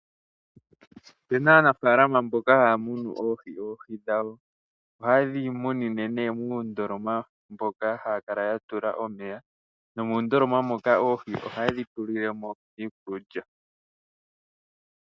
Opuna Aanafaalama mboka haya munu oohi. Oohi dhawo ohayedhi munine muundoloma moka haya kala yatula omeya. Muundoloma moka ohayedhi tulilemo iikulya.